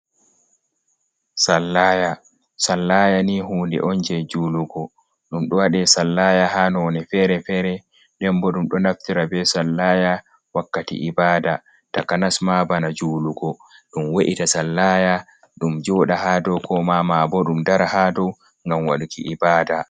Sallaya, sallaya ni hunde on je julugo, ɗum ɗo waɗe sallaya ha none fere-fere, den bo ɗum ɗo naftira be sallaya wakkati ibada taka nasma bana julugo, ɗum wa’ita sallaya ɗum joɗa ha dow, ko ma bo ɗum dara ha dow gam waɗuki ibada.